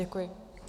Děkuji.